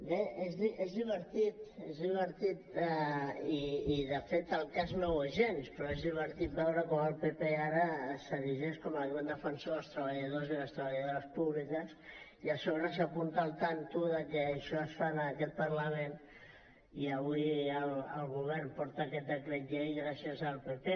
bé és divertit és divertit i de fet el cas és que no ho és gens però és divertit veure com el pp ara s’erigeix com el gran defensor dels treballadors i les treballadores públiques i a sobre s’apunta el tanto que això es fa en aquest parlament i avui el govern porta aquest decret llei gràcies al pp